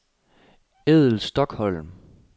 Edel Stokholm